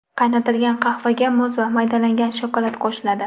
Qaynatilgan qahvaga muz va maydalangan shokolad qo‘shiladi.